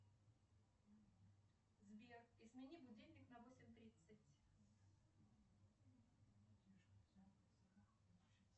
сбер измени будильник на восемь тридцать